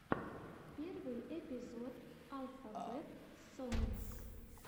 первый эпизод алфабет сонгс